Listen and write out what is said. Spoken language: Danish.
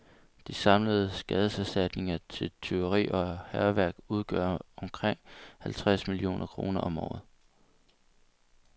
De samlede skadeserstatninger til tyveri og hærværk udgør omkring halvtreds millioner kroner om året.